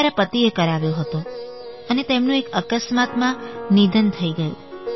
તે મારા પતિએ કરાવ્યો હતો અને તેમનું એક અકસ્માતમાં નિધન થઈ ગયું